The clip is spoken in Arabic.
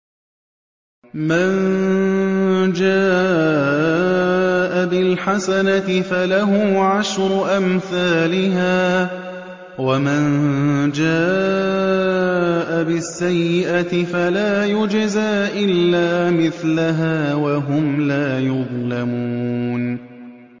مَن جَاءَ بِالْحَسَنَةِ فَلَهُ عَشْرُ أَمْثَالِهَا ۖ وَمَن جَاءَ بِالسَّيِّئَةِ فَلَا يُجْزَىٰ إِلَّا مِثْلَهَا وَهُمْ لَا يُظْلَمُونَ